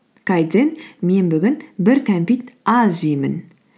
мен бүгін бір кәмпит аз жеймін